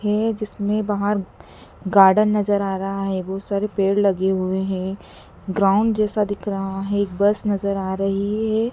हैं जिसमें बाहर गार्डन नजर आ रहा है बहोत सारे पेड़ लगे हुए हैं ग्राउंड जैसा दिख रहा है एक बस नजर आ रही है।